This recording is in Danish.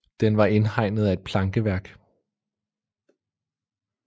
Den var indhegnet af et plankeværk